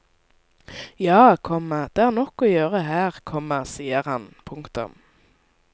Ja, komma det er nok å gjøre her, komma sier han. punktum